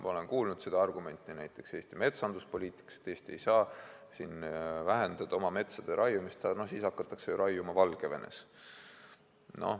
Ma olen kuulnud seda argumenti näiteks Eesti metsanduspoliitikas: Eesti ei saa vähendada oma metsade raiumist, sest siis hakatakse raiuma Valgevenes.